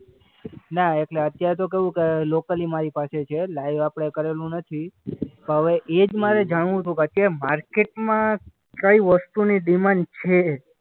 ના એટલે અત્યારે તો કેવું કે લોકલી મારી પાસે છે. લાઈવ આપણે કરેલું નથી. હવે એ જ મારે જાણવું હતું કે આ માર્કેટમાં કઈ વસ્તુની ડિમાન્ડ છે.